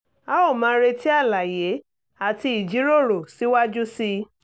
a ó máa retí àlàyé àti ìjíròrò síwájú sí i